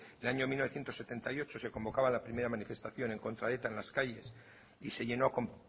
en el año mil novecientos setenta y ocho se convocaba la primera manifestación en contra de eta en las calles y se llenó con